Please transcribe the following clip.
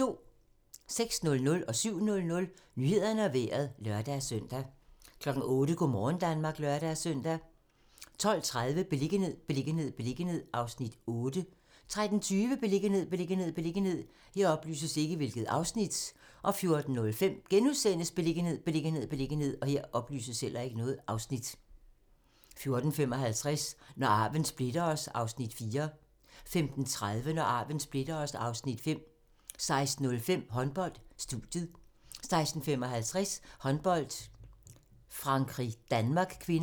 06:00: Nyhederne og Vejret (lør-søn) 07:00: Nyhederne og Vejret (lør-søn) 08:00: Go' morgen Danmark (lør-søn) 12:30: Beliggenhed, beliggenhed, beliggenhed (Afs. 8) 13:20: Beliggenhed, beliggenhed, beliggenhed 14:05: Beliggenhed, beliggenhed, beliggenhed * 14:55: Når arven splitter os (Afs. 4) 15:30: Når arven splitter os (Afs. 5) 16:05: Håndbold: Studiet 16:55: Håndbold: Frankrig-Danmark (k)